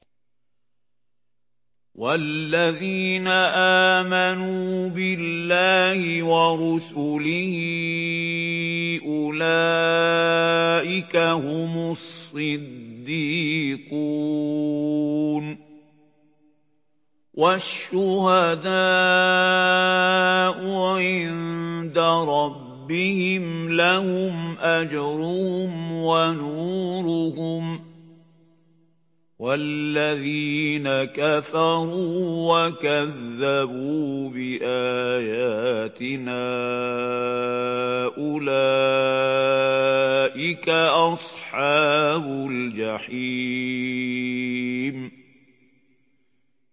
وَالَّذِينَ آمَنُوا بِاللَّهِ وَرُسُلِهِ أُولَٰئِكَ هُمُ الصِّدِّيقُونَ ۖ وَالشُّهَدَاءُ عِندَ رَبِّهِمْ لَهُمْ أَجْرُهُمْ وَنُورُهُمْ ۖ وَالَّذِينَ كَفَرُوا وَكَذَّبُوا بِآيَاتِنَا أُولَٰئِكَ أَصْحَابُ الْجَحِيمِ